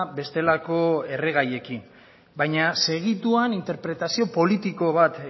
bestelako erregaiekin baina segituan interpretazio politiko bat